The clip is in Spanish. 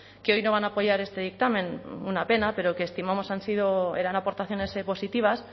que hoy no van a apoyar este dictamen una pena pero que estimamos eran aportaciones positivas